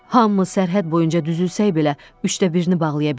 Hamımız sərhəd boyunca düzülsək belə, üçdə birini bağlaya bilmərik.